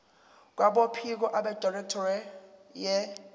kwabophiko abedirectorate ye